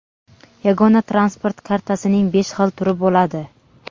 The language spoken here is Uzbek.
yagona transport kartasining besh xil turi bo‘ladi.